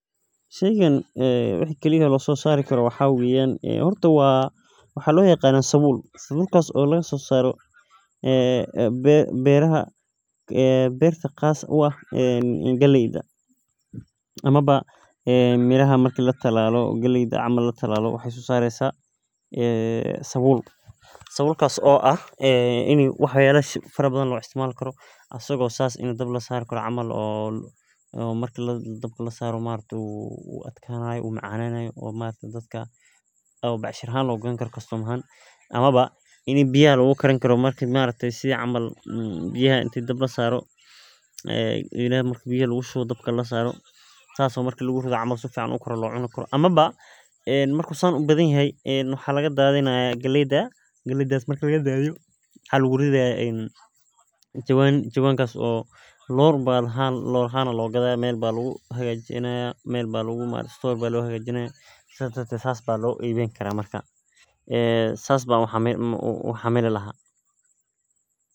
Sheygani waxaa kali ee lasosari karo maxaa waye horta waxaa lo yaqana sabul sabulkas oo berta laga sosaro galeyda marki latalalo isago camal biyaha lagu karini karo elaha marku san u badan yahay galeyda aya laga dadhini haya sas ban u xamili laha wana shey aad iyo aad muhiim u ah.